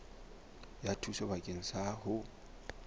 ya thuso bakeng sa ho